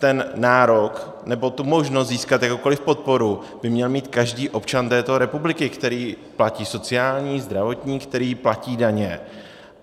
Ten nárok, nebo tu možnost získat jakoukoliv podporu by měl mít každý občan této republiky, který platí sociální, zdravotní, který platí daně.